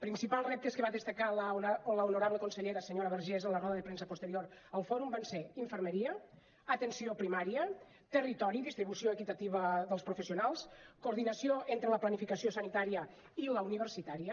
principals reptes que va destacar l’honorable consellera senyora vergés en la roda de premsa posterior al fòrum van ser infermeria atenció primària territori distribució equitativa dels professionals coordinació entre la planificació sanitària i la universitària